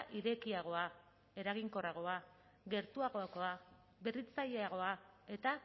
irekiagoa eraginkorragoa gertuagokoa berritzaileagoa eta